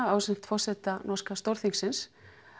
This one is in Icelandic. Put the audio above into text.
ásamt forseta norska Stórþingsins